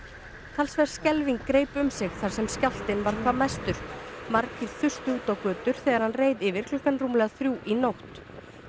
talsverð skelfing greip um sig þar sem skjálftinn var hvað mestur margir þustu út á götur þegar skjálftinn reið yfir klukkan rúmlega þrjú í nótt